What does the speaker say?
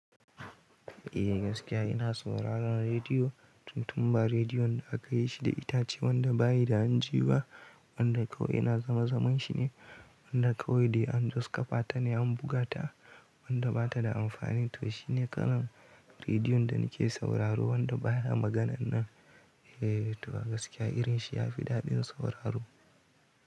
Eh gaskiya ina sauraron rediyo, tun tun ba rediyon da aka yi shi da itace wanda bayi da hanji ba, wanda kawai ina zama zaman shi ne, wanda kawai dai an just kafa ta ne an buga ta, wanda bata da amfani. To shine kalan rediyon da nake sauraro wanda baya maganan nan. Eh to gaskiya irin shi ya fi daɗin sauraro.